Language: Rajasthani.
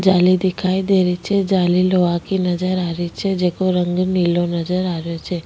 जाली दिखाई दे रही छे जाली लोहा की नजर आ रही छे जिको रंग नीलाे नजर आ रियो छे।